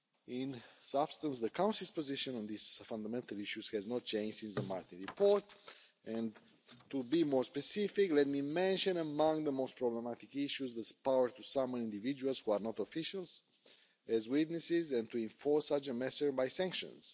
In substance, the Council's position on these fundamental issues has not changed since the Martin report, and to be more specific, let me mention, among the most problematic issues, this power to summon individuals who are not officials as witnesses and to enforce such a measure by sanctions